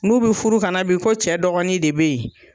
N'u bi furu ka na bi ,ko cɛ dɔgɔnin de be yen.